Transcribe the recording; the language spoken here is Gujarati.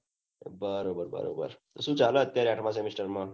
બરોબર બરોબર તો સુ ચાલે અત્યરે આઠમાં semester માં